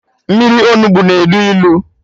Mmiri Onugbu na elu ilu